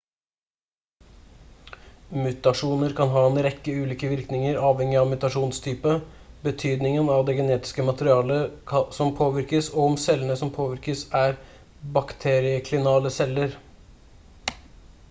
mutasjoner kan ha en rekke ulike virkninger avhengig av mutasjonstype betydningen av det genetiske materialet som påvirkes og om cellene som påvirkes er bakterieklinale celler